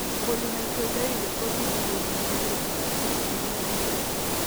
Polymicrogyria kobitu kobun genetic ak kit neu emet